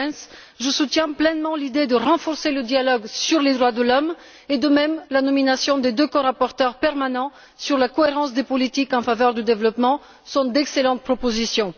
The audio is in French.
Goerens, je soutiens pleinement l'idée de renforcer le dialogue sur les droits de l'homme et, de même, la nomination des deux corapporteurs permanents sur la cohérence des politiques en faveur du développement, voilà d'excellentes propositions.